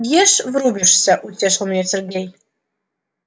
ешь врубишься утешил меня сергей